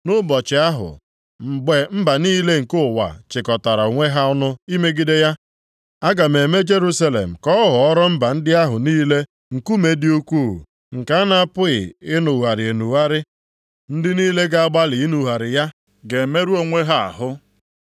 Nʼụbọchị ahụ, mgbe mba niile nke ụwa chịkọtara onwe ha ọnụ imegide ya, aga m eme Jerusalem ka ọ ghọọrọ mba ndị ahụ niile nkume dị ukwuu nke a na-apụghị inugharị enugharị. Ndị niile ga-agbalị inugharị ya ga-emerụ onwe ha ahụ.